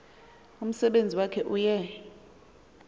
umsebenzi wakhe uye